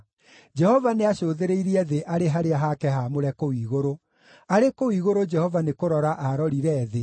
“Jehova nĩacũthĩrĩirie thĩ arĩ harĩa hake haamũre kũu igũrũ; arĩ kũu igũrũ Jehova nĩkũrora aarorire thĩ,